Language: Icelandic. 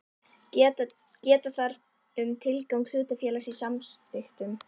Geta þarf um tilgang hlutafélags í samþykktunum.